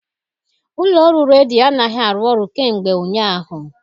Ụlọ ọrụ redio anaghị arụ ọrụ kemgbe ụnyaahụ.